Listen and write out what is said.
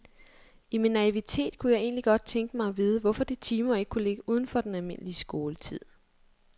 I min naivitet kunne jeg egentlig godt tænke mig at vide, hvorfor de timer ikke kunne ligge uden for den almindelige skoletid.